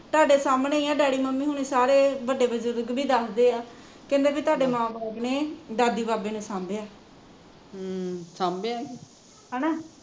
ਤੁਹਾਡੇ ਸਾਹਮਣੇ ਹੀਂ ਐ ਡੈਡੀ ਮੰਮੀ ਹੁਣੀ ਸਾਰੇ ਵੱਡੇ ਬਜ਼ੁਰਗ ਵੀ ਦੱਸਦੇ ਆ ਕਹਿੰਦੇ ਵੀ ਤੁਹਾਡੇ ਮਾਂ ਬਾਪ ਨੇ ਦਾਦੀ ਬਾਬੇ ਨੇ ਸਾਂਭਿਆ ਹੈਨਾ